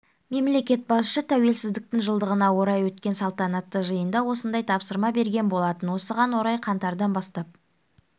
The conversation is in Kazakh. мемлекет басшысы тәуелсіздіктің жылдығына орай өткен салтанатты жиында осындай тапсырма берген болатын осыған орай қаңтардан бастап